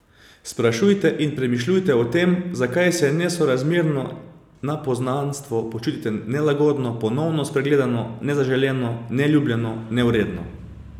Sprašujte in premišljujte o tem, zakaj se, nesorazmerno na poznanstvo, počutite nelagodno, ponovno spregledano, nezaželeno, neljubljeno, nevredno ...